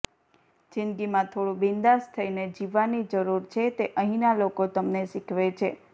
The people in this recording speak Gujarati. જિંદગીમાં થોડું બિંદાસ થઈને જીવવાની જરૂર છે તે અહીંના લોકો તમને શીખવે છે